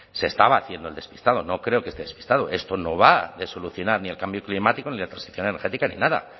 se estaba haciendo el despistado no creo que esté despistado esto no va a solucionar ni el cambio climático ni la transición energética ni nada